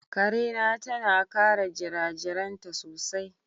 Ƙare na tana kare jirajiraainta sosai.